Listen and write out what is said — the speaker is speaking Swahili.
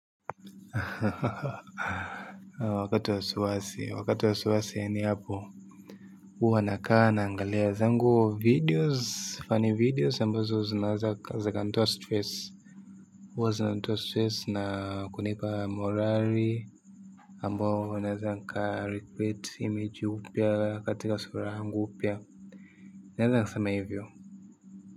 Wakati wa wasiwasi, wakati wa wasiwasi ni hapo huwa nakaa naangalia zangu videos, funny videos ambazo zinaweza zikanitoa stress huwa zinanitoa stress na kunipa morali ambao unaweza ukacreate image upya katika sura yangu upya naweza sema hivyo.